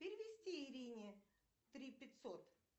перевести ирине три пятьсот